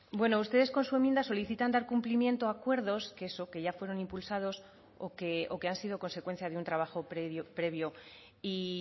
bueno ustedes con su enmienda solicitan dar cumplimiento a acuerdos que ya fueron impulsados o que han sido consecuencia un trabajo previo y